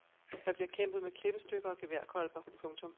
Der bliver kæmpet med klippestykker og geværkolber. punktum